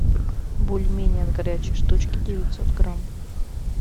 бульмени от горячей штучки девятьсот грамм